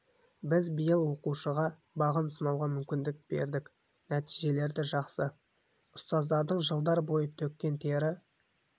біз биыл оқушыға бағын сынауға мүмкіндік бердік нәтижелері де жақсы ұстаздардың жылдар бойы төккен тері